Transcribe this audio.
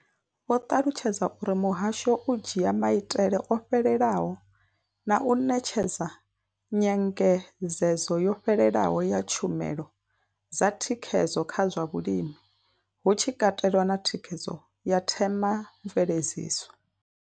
Vho ṱalutshedza uri muhasho u dzhia maitele o fhelelaho na u ṋetshedza nyengedzedzo yo fhelelaho ya tshumelo dza thikhedzo kha zwa vhulimi, hu tshi katelwa na thikhedzo ya themamveledziso.